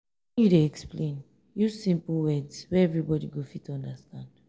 when you dey explain use simple words wey everybody go fit understand.